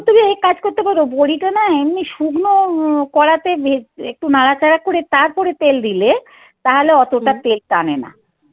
তুমি এই কাজ করতে পারো বড়িটা না এমনি শুকনো কড়া তে একটু নাড়াচাড়া করে তারপরে তেল দিলে তাহলে অতটা তেল টানে না